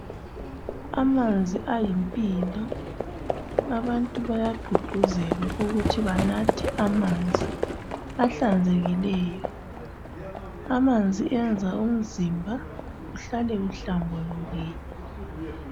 Amanzi ayimpilo abantu bayagqugquzelwa ukuthi banathe amanzi ahlanzekileyo, amanzi enza umzimba uhlale uhlambulukile.